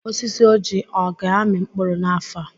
Osisi Ọjị a aga-amị mkpụrụ n'afọ a?